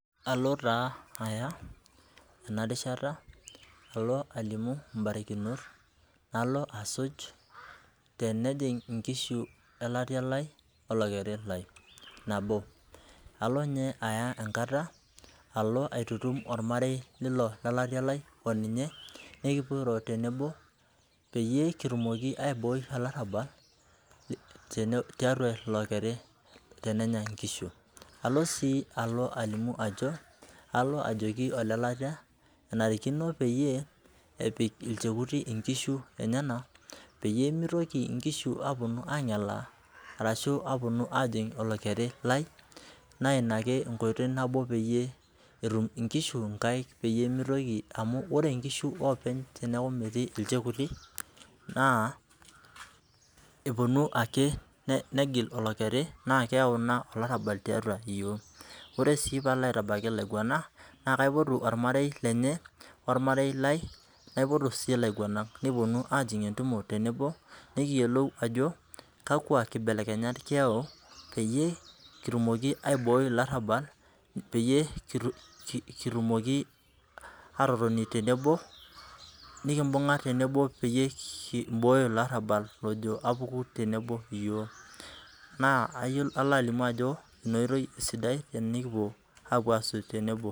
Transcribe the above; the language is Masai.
Alo taa aya ena rishata alo alimu mbarikinot nalo asuj tenejing inkishu olatia lai olokeri lai nabo, alo ninye aya enkata aitutum ormarei lilo lolatia lai oninye nikipuo airo tenebo pee kitumoki aibooi olarabal tiatua oli okeri tenenya inkishu ,alo sii ajoki olelatia lai enarikino peyie epik ilchekuti inkishu enyenak peyie meitoki nkishu aponu angelaa orashu aponu ajing olokeri lai ,naa ina ake peyie etum inkishu nkaek peyie ,amu ore nkishu teneeku jiche ake openy teneeku metii ilchekuti naa eponu ake negil olokeri naa keyau ina olarabal tiatua yiok. ore sii pee alo aitabaiki ilaiguanak naa kaipotu ormarei lenye oormare lai naipotu sii laiguanak ,nikiponu ajing entumo tenebo nikiyiolou kakwa kibelekenyat kiyau peyie kitum aiboi ilaarabal peyie kitumoki aatotoni tenebo nikimbunga tenebo peyie kibooyo ilo arabali lojo apuku tenebo yiook naa kalo alimu ajo ina oitoi esidai tenikipuo asuj tenebo.